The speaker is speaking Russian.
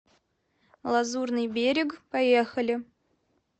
лазурный берег поехали